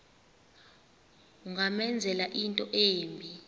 ungamenzela into embi